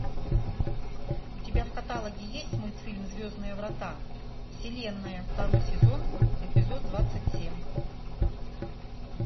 у тебя в каталоге есть мультфильм звездные врата вселенная второй сезон эпизод двадцать семь